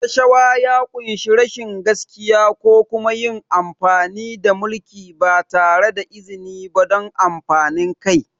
Rashawa ya ƙunshi rashin gaskiya ko kuma yin amfani da mulki ba tare da izini ba don amfanin kai.